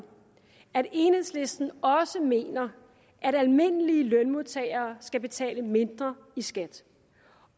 at enhedslisten også mener at almindelige lønmodtagere skal betale mindre i skat